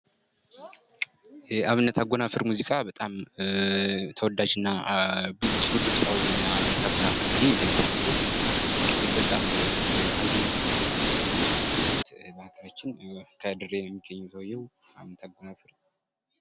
የአብነት አጎናፍር ሙዚቃ በጣም ተወዳጅ እና ጥሩ ድምጻዊ ነው አብነት አጎናፍር እንግዲህ እንደሚታወቀው እንግዲህ በጣም አዝናኝ ሙዚቃዎች አሉት በሀገራችን ከድሬ ነው የሚገኘው ሰውየው አመተምህረት